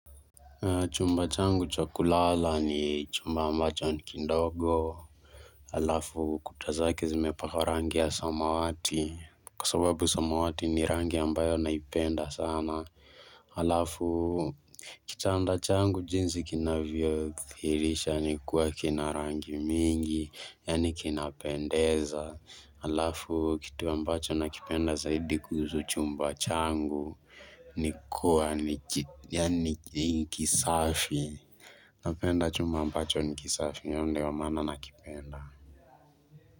Chumba changu cha kulala ni chumba ambacho nikindogo. Alafu kuta zake zimepakwa rangi ya samawati. Kwa sababu samawati ni rangi ya ambayo naipenda sana. Alafu kitanda changu jinzi kinavyo kithirisha ni kuwa kina rangi mingi yani kina pendeza. Alafu kitu ambacho nakipenda zaidi kuhusu chumba changu nikua nikisafi napenda chumba ambacho nikisafi iyo ndio maana nakipenda.